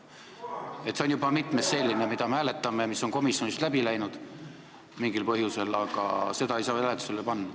See on juba mitmes selline, mida me hääletame ja mis on komisjonist läbi läinud mingil põhjusel, aga seda ei saa hääletusele panna.